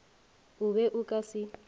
o be o ka se